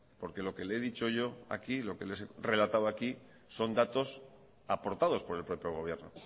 porque lo que le he dicho yo aquí lo que les he relatado aquí son datos aportados por el propio gobierno